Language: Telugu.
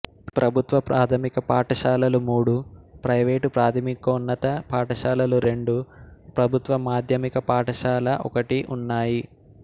ప్రభుత్వ ప్రాథమిక పాఠశాలలు మూడు ప్రైవేటు ప్రాథమికోన్నత పాఠశాలలు రెండు ప్రభుత్వ మాధ్యమిక పాఠశాల ఒకటి ఉన్నాయి